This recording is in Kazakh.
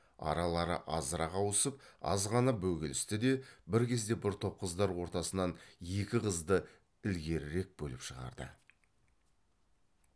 аралары азырақ ауысып аз ғана бөгелісті де бір кезде бір топ қыздар ортасынан екі қызды ілгерірек бөліп шығарды